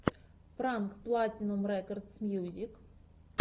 пранк платинум рекордс мьюзик